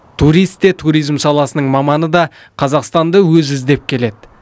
турист те туризм саласының маманы да қазақстанды өзі іздеп келеді